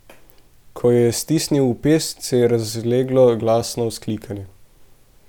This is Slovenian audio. Ko jo je stisnil v pest, se je razleglo glasno vzklikanje.